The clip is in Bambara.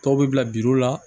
Tɔw bɛ bila la